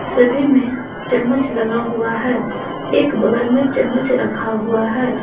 सभी में चम्मच लगा हुआ है एक बगल में चम्मच रखा हुआ है।